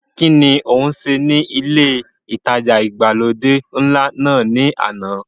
kín ni o ń ṣe ní ilé ìtajà ìgbàlódé ńlá náà ni àná?